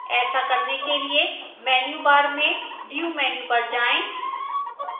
ऐसा करने के लिए menu bar में view menu पर जाएं